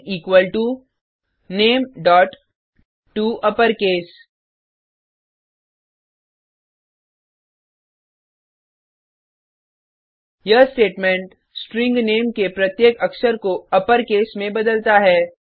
name equal to nametoUpperCase यह statement string name के प्रत्येक अक्षर को अपरकेस में बदलता है